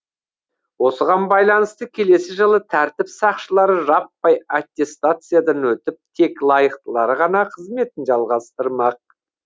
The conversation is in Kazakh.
осыған байланысты келесі жылы тәртіп сақшылары жаппай аттестациядан өтіп тек лайықтылары ғана қызметін жалғастырмақ